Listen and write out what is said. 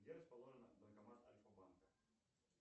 где расположен банкомат альфа банка